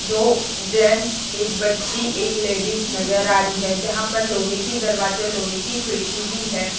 दो जेंट्स एक बच्ची एक लेडिस नजर आ रही है जहां पर लोहे की दरवाजा लोहे की खिड़की भी है।